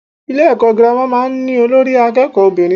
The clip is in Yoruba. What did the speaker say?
Ilé èkó girama máa n ní Olórí akéèkó obìnrin